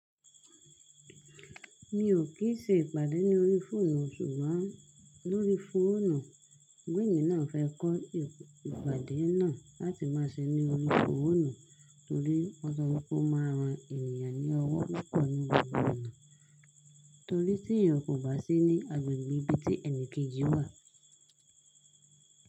Mi ò kí ń ṣe ìpàdé ní orí fóònù sùgbọ́n lórí fóònù. Sugbon emì náà fẹ́ kọ́ ìpàdé náà láti máa ṣe ní orí fóònù torí wón sọ wípé ó ma ran ènìyàn ní ọwọ́ púpọ̀ ní gbogbo ona torí tí eyan kò bá sí ní agbẹ̀gbẹ̀ ibi tí ẹnìkejì wà.